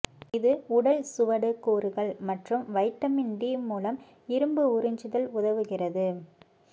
இது உடல் சுவடு கூறுகள் மற்றும் வைட்டமின் டி மூலம் இரும்பு உறிஞ்சுதல் உதவுகிறது